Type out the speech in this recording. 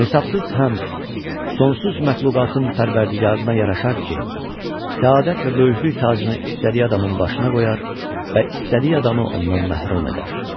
Hesabsız həmd sonsuz məxluqatın pərvərdigarına yaraşar ki, səadət və böyüklük tacını istədiyi adamın başına qoyar və istədiyi adamı ondan məhrum edər.